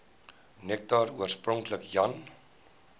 nektar oorspronklik jan